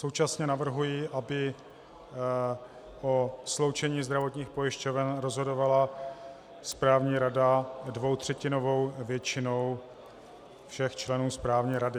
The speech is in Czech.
Současně navrhuji, aby o sloučení zdravotních pojišťoven rozhodovala správní rada dvoutřetinovou většinou všech členů správní rady.